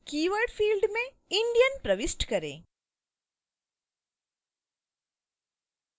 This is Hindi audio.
keyword field में indian प्रविष्ट करें